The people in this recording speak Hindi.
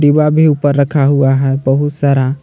वह भी ऊपर रखा हुआ है बहुत सारा।